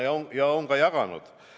Ja me olemegi jaganud.